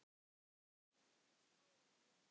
En ég minnist táranna líka.